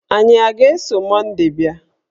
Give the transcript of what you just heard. Anyị a ga-eso Monday bịa?